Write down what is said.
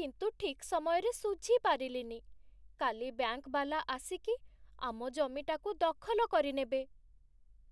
କିନ୍ତୁ ଠିକ୍ ସମୟରେ ଶୁଝିପାରିଲିନି । କାଲି ବ୍ୟାଙ୍କ୍ ବାଲା ଆସିକି ଆମ ଜମିଟାକୁ ଦଖଲ କରିନେବେ ।